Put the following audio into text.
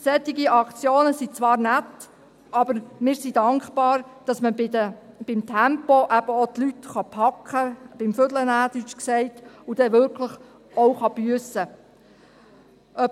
Solche Aktionen sind zwar nett, aber wir sind dankbar, dass man beim Tempo die Leute eben auch beim Wickel nehmen und dann wirklich auch büssen kann.